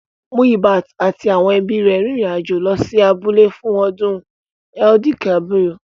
Muyibat àti àwọn ẹbí rẹ̀ rin ìrìn àjò lọ sí abúlé fún ọdún Eid-el-kabir